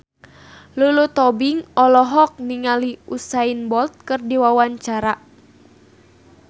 Lulu Tobing olohok ningali Usain Bolt keur diwawancara